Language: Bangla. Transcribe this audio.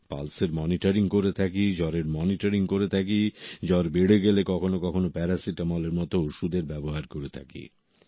পালসের মনিটরিং করে থাকি জ্বরের মনিটরিং করে থাকি জ্বর বেড়ে গেলে কখনো কখনো প্যারাসিটামল এর মত ওষুধের ব্যবহার করে থাকি